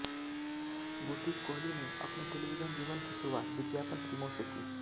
गुरदीप कोहली ने अपने टेलीविजन जीवन की शुरुआत विज्ञापन फिल्मों से की